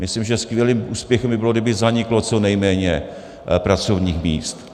Myslím, že skvělým úspěchem by bylo, kdyby zaniklo co nejméně pracovních míst.